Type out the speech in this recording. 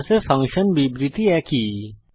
C এ function বিবৃতি একই